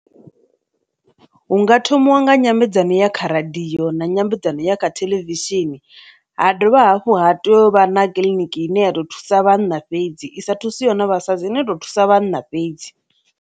Hunga thomiwa nga nyambedzano ya kha radio na nyambedzano ya kha theḽevishini, ha dovha hafhu ha to u vha na Kiḽiniki ine ya ḓo thusa vhanna fhedzi i sa thusiho vhafumakadzi i no to thusa vhanna fhedzi.